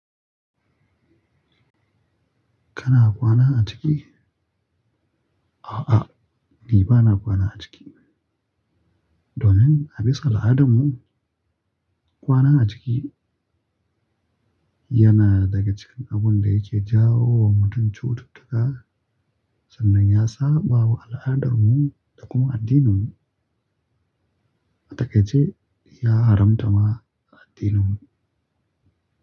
Kana kwana a ciki? A'a, ni ba na kwana a ciki. Domin a bisa al'adarmu, kwana a ciki yana daga cikin abun da yake jawo wa mutum cututtuka sannan ya saɓawa al'adarmu da kuma addininmu. Atakaice, ya haramta ma a addininmu.